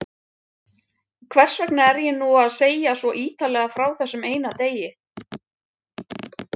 Hversvegna er ég nú að segja svo ýtarlega frá þessum eina degi?